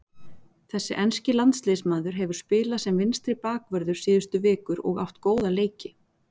Þessi enski landsliðsmaður hefur spilað sem vinstri bakvörður síðustu vikur og átt góða leiki.